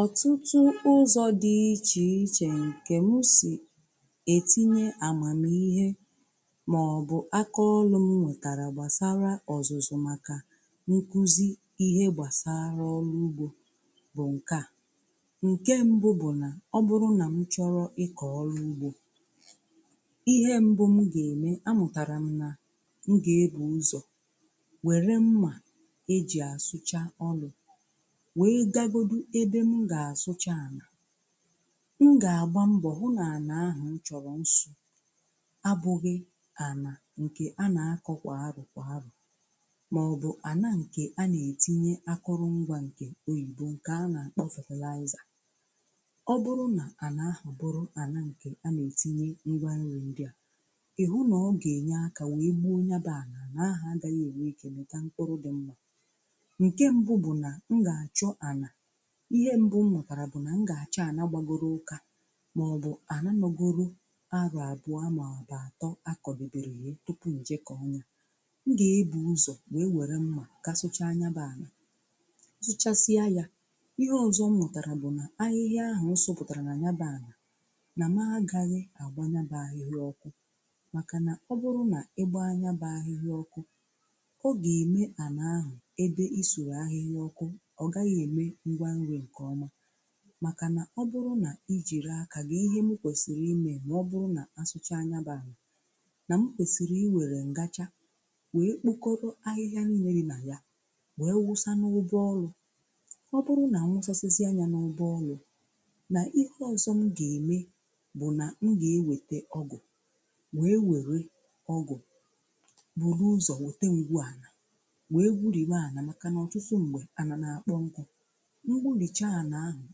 Ọtụtụ ụzọ̀ dị iche iche nke m si etinye amamihe maọbụ̀ akaọlụ̀ m nwetara gbasara ọzụzụ̀ makà nkụzi ihe gbasara ọrụ̀ ugbo bụ̀ nke à. Nke mbụ bụ̀ nà ọbụrụ nà m chọrọ̀ ịkọ̀ ọrụ̀ ugbo, ihe mbụ̀ mụ ga-eme amụtarà m nà m ga-ebù ụzọ̀ were mma e ji asụchà ọlụ̀ wee gagodụ ebe m gà-àsụcha anà, m gà-àgba mbọ̀ hụ nà anà ahụ̀ m chọ̀rọ̀ nsụ̀ abụgị̀ anà nkè anà akọ̀ kwà arọ kwà arọ màọbụ̀ anà nkè anà ètinye akụrụ ngwà nkè oyìbo nkè anà kpọ fetịliazà. Ọ bụrụ nà anà ahụ̀ bụrụ anà nkè anà ètinye ngwa nrì ndịà, ị hụ nà ọ gà-enye akà wèe gbụo o nya bụ anà, anà ahụ̀ agaghị̀ ènwe ike mịta mkpụrụ dị mma. Nkè mbụ̀ bụ̀ nà m ga-achọ ana, ihe mbụ m mụtara bụ̀ nà m gà-àchọ ànà gbàgoro ụkà màọbụ̀ àna nọ̀goro arọ abụa maọbụ àtọ akọdebèrè yee tupu m je kọọ̀ nya. M gà-ebu̇ ụzọ̀ wee wère mmà ga-asụcha nyabà ana, m sụchasịa ya, ihe ọzọ m mụtarà bụ̀ nà ahịhịa ahụ̀ m sọpụ̀tàrà nà nyabụ àna nà ma agaghị̇ àgbà nyabụ ahịhịa ọkụ̇ màkànà ọ bụrụ nà ịgbȧ nyabụ ahịhịa ọkụ̇ ọ gà-ème ànà ahụ̀ ebe i suru ahịhịa ọkụ̇ ọ gaghị eme ngwa nri nke ọma, makà na ọ bụrụ̀ na ijirì akà ga gị ihe mụ kwesịrị imè ma ọ bụrụ̀ na a sụchà nya bụ̀ àna na m kwesịrị iwerè ngachà wee kpokọrọ̀ ahịhịà nille dị̀ na ya wee wụsa n’ụbụ̀ ọlụ̀, ọ bụrụ̀ na nwụsasịsịa a nyà n’ụbụ̀ ọlụ̀ na ihe ọzọ̀ m ga-eme bụ̀ nà m ga-ewetè ọgụ̀ wee were ọgụ̀ buru ụzọ̀ wete ngwu ànà wee gwurìwe ana makà n’ọtụtụ ṁgbè anà na-akpọ̀ nkụ. M gburìcha anà ahụ̀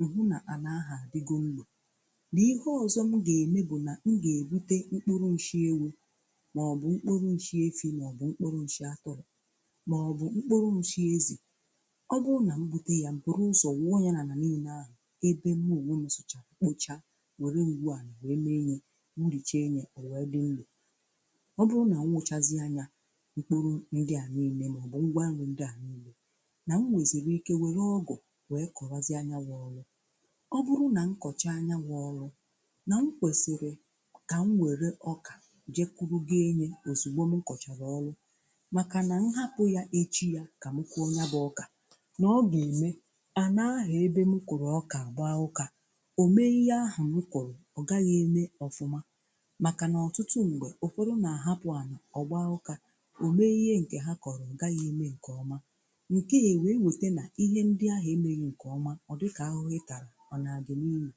m̀ hụ nà ànà ahụ̀ àdịgo nro, n'ihe ọzọ m gà-eme bụ̀ nà m gà-èbute mkpụrụ nshie wụ mọ̀bụ̀ mkpụrụ nshị ewu maọbụ mkpụrụ nshị efi, mọ̀bụ̀ mkpụrụ nshị atụrụ mọ̀bụ̀ mkpụrụ nshị ezì. Ọ bụrụ nà m bụte yà, m buru ụzọ wụọ ya n'ana n’ine ahụ̀ ebe mụ onwe m sụchara kpocha wère ngwu ànà wee mee nye m gburìche nyè o wère dị nlò. Ọ bụrụ nà m wụ chazịa nyȧ, mkporo ndị à nine mọ̀bụ̀ ngwà nri ndị a nine, nà m nwèzìri ike were ọgụ wee kowazịa nya wụ ọlụ. Ọ bụrụ̀ nà m kọchàa nya wụ̀ ọrụ̀ na m kwesịrị ka m werè ọkà jee kwuru ga enyè ozugbò m kọcharà ọrụ̀ makà nà m hapụ̀ yà echi yà ka m kụọ nyà bụ̀ ọkà na ọ ga emè ana-ahụ ebe mụ kụ̀rụ̀ ọkà agbaa ụka o mee ihe ahụ̀ m kụrụ ọ gaghị̀ emè ọfụmà, makà nà ọtụtụ mgbè, ụfọdụ nà àhapụ̀ anà ọ gbàa ụ̀kà o mee ihe ǹkè ha kọ̀rọ̀ ọ gàghị̀ emè ǹkè ọmà, nke e wee wete na ihe ndị ahụ emeghị nke ọma ọ dị ka ahụhụ ị tara ọ na-agị niyi.